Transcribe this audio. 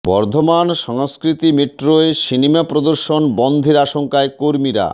বর্ধমান সংস্কৃতি মেট্রোয় সিনেমা প্রদর্শন বন্ধের আশঙ্কায় কর্মীরা